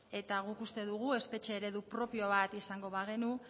eta guk uste dugu espetxe eredu propio bat izango bagenu